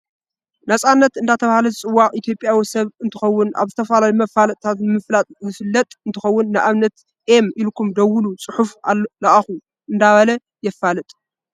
ናፃናት እንዳተባሃለ ዝፅዋዕ ኢትዮጰያዊ ሰብ እንትከውን ኣብ ዝተፈላለዩ መፋለጢታ ብምፍላጥ ዝፍለጥ እንትከውን ንኣብነት ኤ ኢልኩም ደውሉ ፅሑፍ ለኣኩ እንዳበለ የፋልጥ።